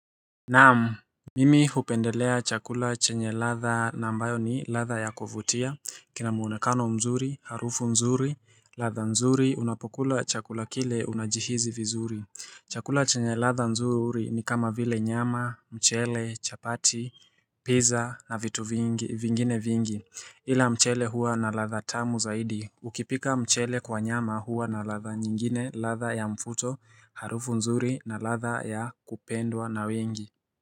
Naam, mimi hupendelea chakula chenye ladha na ambayo ni ladha ya kuvutia, kina muonekano mzuri, harufu nzuri, ladha nzuri, unapokula chakula kile unajihisi vizuri. Chakula chenye ladha nzuri ni kama vile nyama, mchele, chapati, pizza na vitu vingine vingi. Ila mchele hua na ladha tamu zaidi, ukipika mchele kwa nyama hua na ladha nyingine, ladha ya mvuto, harufu nzuri na ladha ya kupendwa na wengi.